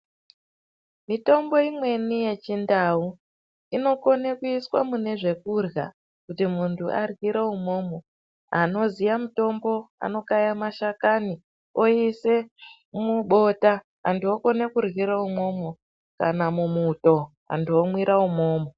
Mitombo imweni ye chindau inokone kuiswa mune zvekurya kuti muntu aryire imwomwo anoziya mutombo anokaya mashakani oise mubota antu okone kuryira imwomwo kana mu muto antu omwira imomo.